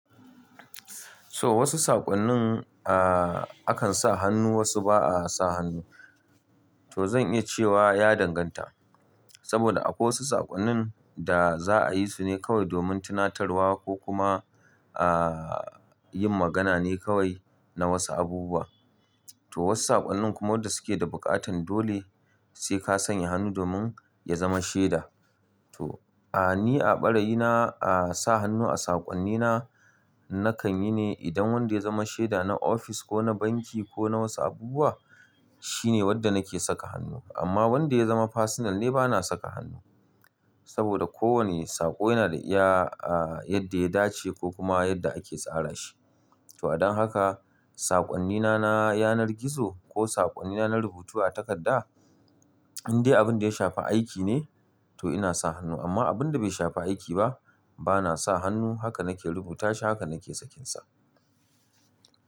To wasu saƙonnin, a a kan sa hannu wasu ba a sa hannu. To zan iya cewa ya danganta. Saboda akwai wasu saƙonnin da za a yi su ne kawai domin tunatarwa ko kuma a yin magana ne kawai na wasu abubuwa. To wasu saƙonnin kuma wadda suke da buƙatan dole sai ka sanya hannu domin ya zama sheda. To a ni a ɓarayi na a sa hannu a saƙonnina nakan yi ne idan wanda ya zama shaida na ofis ko na banki ko na wasu abubuwa shine wanda nake saka hannu. Amma wanda ya zama fasinal ne bana saka hannu. Saboda kowane saƙo yana da iya yadda ya dace ko kuma yadda ake tsara shi. To adon haka saƙonnina na yanar gizo ko saƙonnina na rubutu a takarda, in dai abin da ya shafi aiki ne to ina sa hannu. Amma abin da bai shafi aiki ba bana sa hannu haka nake rubuta shi haka nake sakinsa.